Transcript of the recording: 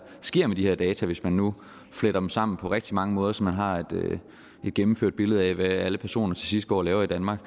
sker med de data hvis man nu fletter dem sammen på rigtig mange måder så man har et gennemført billede af hvad alle personer til sidst går og laver i danmark